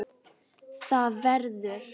ÞAÐ VERÐUR